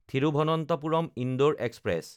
Thiruvananthapuram-Indore express